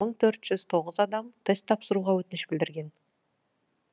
мың төрт жүз тоғыз адам тест тапсыруға өтініш білдірген